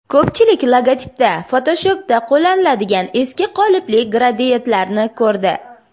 Ko‘pchilik logotipda Photoshop’da qo‘llaniladigan eski qolipli gradiyentlarni ko‘rdi.